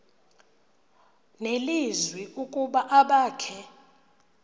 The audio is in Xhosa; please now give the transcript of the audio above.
nelizwi ukuba abakhe